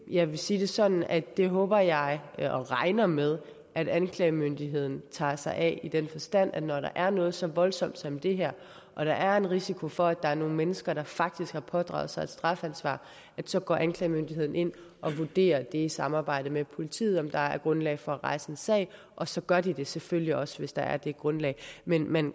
jeg vil sige det sådan at det håber jeg og regner med at anklagemyndigheden tager sig af i den forstand at når der er noget så voldsomt som det her og der er en risiko for at der er nogle mennesker der faktisk har pådraget sig et strafansvar så går anklagemyndigheden ind og vurderer i samarbejde med politiet om der er grundlag for at rejse en sag og så gør de det selvfølgelig også hvis der er det grundlag men man